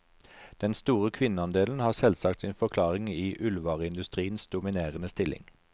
Den store kvinneandelen har selvsagt sin forklaring i ullvareindustriens dominerende stilling.